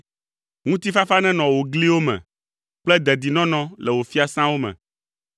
Ŋutifafa nenɔ wò gliwo me kple dedinɔnɔ le wò fiasãwo me.”